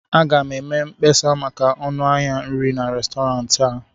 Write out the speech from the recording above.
m ga-eme mkpesa maka ọnụ ahịa nri na Restọrantị a